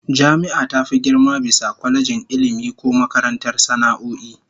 Jami'a ta fi girma bisa kwalejin Ilmi ko makarantar sana'o'i